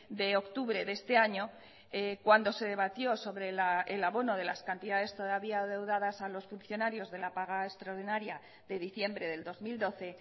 de octubre de este año cuando se debatió sobre el abono de las cantidades todavía adeudadas a los funcionarios de la paga extraordinaria de diciembre del dos mil doce